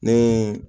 Ni